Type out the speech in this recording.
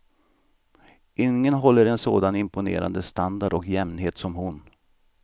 Ingen håller en sådan imponerande standard och jämnhet som hon.